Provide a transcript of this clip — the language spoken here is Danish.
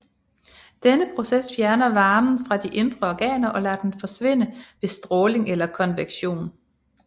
Denne proces fjerner varme fra de indre organer og lader den forsvinde ved stråling eller konvektion